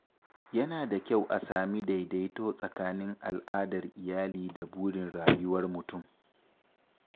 Yana da kyau a sami daidaito tsakanin al’adar iyali da burin rayuwar mutum.